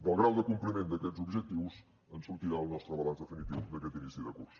del grau de compliment d’aquests objectius en sortirà el nostre balanç definitiu d’aquest inici de curs